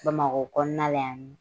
Bamakɔ kɔnɔna la yan nɔ